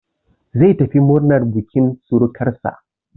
Zai tafi murnan bukin surukansa.